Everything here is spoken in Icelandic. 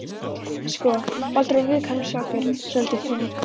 Sko, Baldur var viðkvæmur strákur, svolítið þung